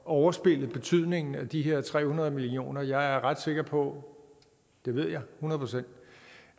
overspille betydningen af de her tre hundrede million kroner jeg er ret sikker på det ved jeg hundrede procent